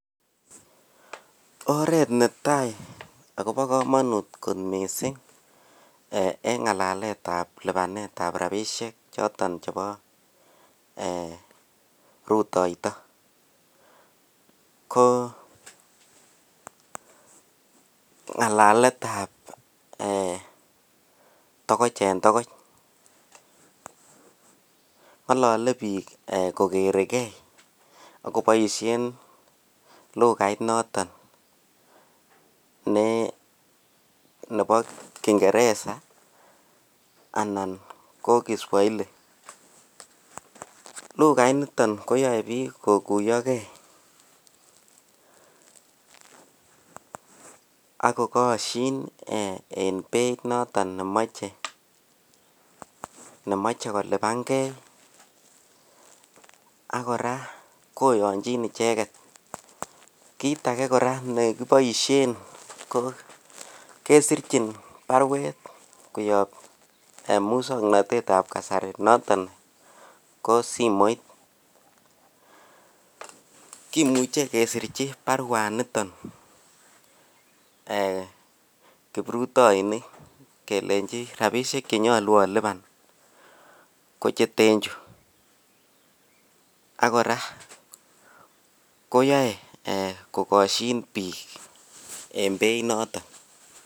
Oret netai akoba kamanut kot mising en ngalalet ab lubanet ab rabinik choton chebo rotoito ko ngalalet ab tokoch en tokoch kongalale bik kogere gei akobaishen lugait noton Nebo kingeresa anan ko Kiswahili lugait niton koyae bik kokuyio gei akokashin en Beit noton nemache koluban gei akoraa koyanjin icheket kit age koraa nekibaishen KO kesirchin barwet koyab muswaknatet Nebo kasari noton ko simoit kimuche kesirchin barwaniton kibruyoinik kelenji rabishek Che nyolu oluban 1kocheten Chu akoraa koyae kokashin bik en Beit noton